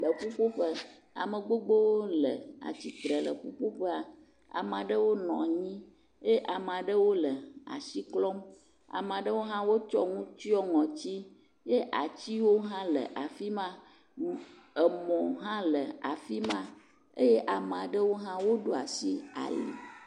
Le ƒuƒoƒe ame gbogbowo le atsitre le ƒuƒoƒea, ame aɖewo nɔ anyi eye ame aɖewo le asi klɔm, ame aɖewo hã tsɔ nu tsyɔ̃ ŋɔti eye atiwo hã le afi ma, emɔ hã le afi ma eye ame aɖewo hã wodo asi ali.